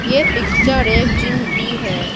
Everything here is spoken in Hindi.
ये पिक्चर एक जिम की है।